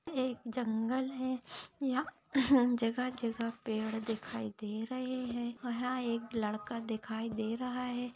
एक जंगल है यहा जगह जगहा पेड़ दिखाई दे रहे है यहा एक लड़का दिखाई दे रहा है।